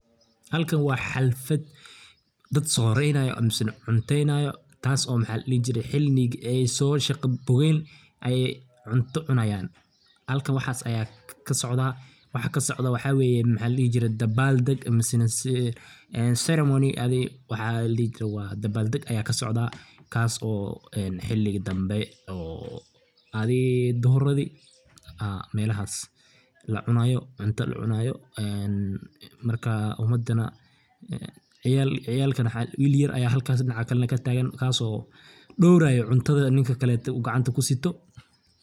Halkan waa xalfad, dad soreenayo amisan cunteynayo taaso maxa ladhihii jire xiligii ayso shaqa bogeen ay cunto cunayan halkan waxaas aya kasocdaa, waxa kasocdo waxa weye dabal dheg mise en ceremony adi waxa ladhihi jire dabal deg aya kasocda kaaso xili dambe oo adii duhuradi melahas lacunayo, cunta lacunayo, marka umadana, ciyal ciyalkan will yar aya halkas dinaca kataagan, kaaso dhowrayo cuntada ninka kaleete u gacanta kusiito